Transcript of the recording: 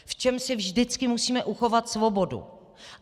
V čem si vždycky musíme uchovat svobodu?